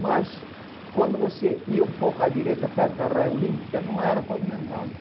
Mas quando você ia um pouco à direita, perto da Olímpica, não era pavimentada.